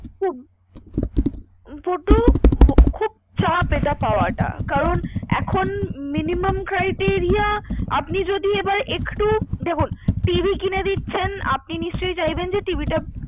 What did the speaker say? খুব, খুব চাপ এটা পাওয়াটা, কারন এখন miniumum criteria আপনি যদি এবার একটু দেখুন, TV কিনে দিচ্ছেন, আপনি নিশ্চয়ই চাইবেন TV টা